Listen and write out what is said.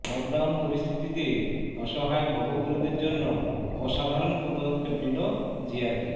lockdown পরিস্থিতিতে অসহায় ভবঘুরেদের জন্য অসাধারন পদক্ষেপ নিল জিআরপি